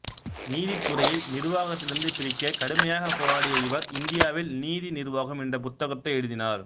நீதித்துறையை நிர்வாகத்திலிருந்து பிரிக்க கடுமையாக போராடிய இவர் இந்தியாவில் நீதி நிர்வாகம் என்ற புத்தகத்தை எழுதினார்